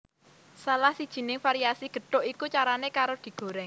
Salah sijining variasi gethuk iku carané karo digorèng